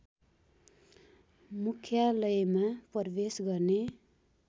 मुख्यालयमा प्रवेश गर्ने